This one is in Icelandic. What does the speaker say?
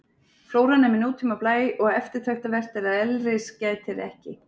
Flóran er með nútíma blæ og eftirtektarvert er að elris gætir ekki.